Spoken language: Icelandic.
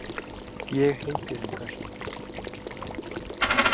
Ég heiti reyndar.